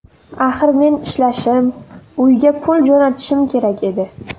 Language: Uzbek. Axir men ishlashim, uyga pul jo‘natishim kerak edi.